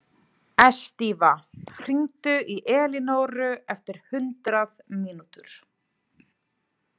Estiva, hringdu í Elinóru eftir hundrað mínútur.